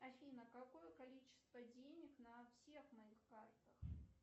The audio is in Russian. афина какое количество денег на всех моих картах